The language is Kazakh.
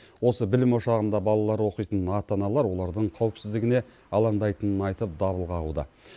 осы білім ошағында балалары оқитын ата аналар олардың қауіпсіздігіне алаңдайтынын айтып дабыл қағуда